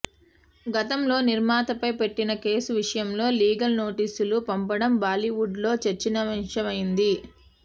గతంలో నిర్మాతపై పెట్టిన కేసు విషయంలో లీగల్ నోటీసులు పంపడం బాలీవుడ్లో చర్చనీయాంశమైంది